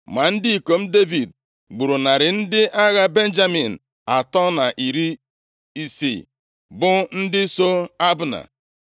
Ma ndị ikom Devid gburu narị ndị agha Benjamin atọ na iri isii, bụ ndị so Abna.